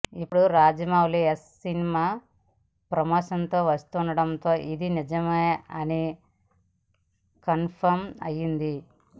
ఇప్పుడు రాజమౌళి యశ్ సినిమా ప్రమోషన్కు వస్తుండటంతో ఇది నిజమే అని కన్ఫర్మ్ అయిపోయింది